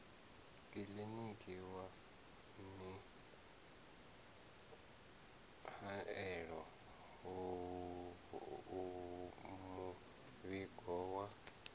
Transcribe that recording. kiḽiniki wa mihaelo muvhigo wa